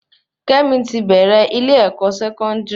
Kémi ti bèrè ile-ẹkọ Sẹkọndiri